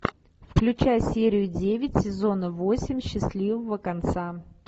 включай серию девять сезона восемь счастливого конца